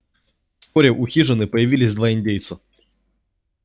вскоре у хижины появились два индейца